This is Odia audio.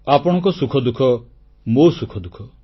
ଆପଣଙ୍କ ସୁଖଦୁଃଖ ମୋ ସୁଖଦୁଃଖ